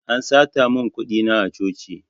An sata mun kuɗi na a coci